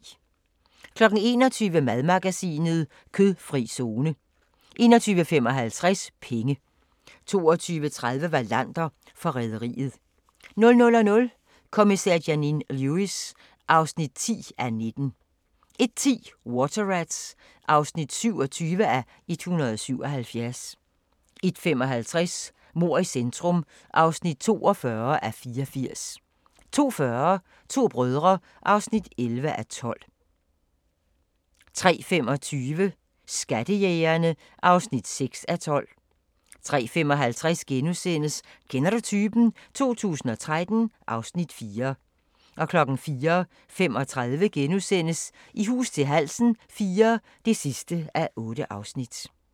21:00: Madmagasinet: Kødfri zone 21:55: Penge 22:30: Wallander: Forræderiet 00:00: Kommissær Janine Lewis (10:19) 01:10: Water Rats (27:177) 01:55: Mord i centrum (42:84) 02:40: To brødre (11:12) 03:25: Skattejægerne (6:12) 03:55: Kender du typen? 2013 (Afs. 4)* 04:35: I hus til halsen IV (8:8)*